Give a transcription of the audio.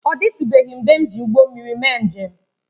Ọ dịtụbeghị mgbe m ji ụgbọ mmiri mee njem